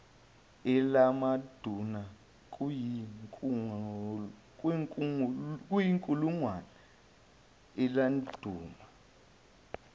eladuma kayinkulungwane eladuma